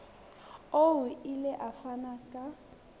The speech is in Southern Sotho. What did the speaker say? o ile a fana ka